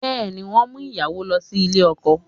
Bẹ́ẹ̀ ni, wọ́n ń mú ìyàwó lọ ilé ọkọ